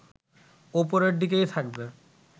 ওপরের দিকেই থাকবে